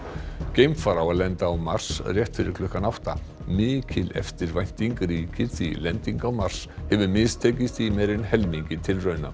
geimfar á að lenda á Mars rétt fyrir klukkan átta mikil eftirvænting ríkir því lending á Mars hefur mistekist í meira en helmingi tilrauna